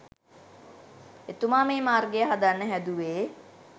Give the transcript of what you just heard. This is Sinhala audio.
එතුමා මේ මාර්ගය හදන්න හැදුවේ.